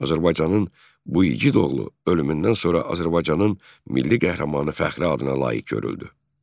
Azərbaycanın bu igid oğlu ölümündən sonra Azərbaycanın milli qəhrəmanı fəxri adına layiq görüldü.